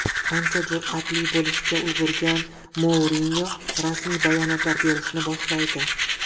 Ancha jur’atli bo‘lishga ulgurgan Mourinyo rasmiy bayonotlar berishni boshlaydi.